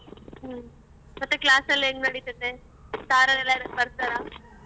ಹ್ಮ್, ಮತ್ತೆ class ಎಲ್ಲ ಹೆಂಗ್ ನಡಿತೈತೆ? sir ಅವ್ರೆಲ್ಲ ಬರ್ತಾರಾ?